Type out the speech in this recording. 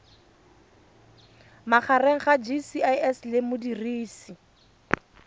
magareng ga gcis le modirisi